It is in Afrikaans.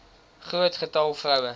groot getal vroue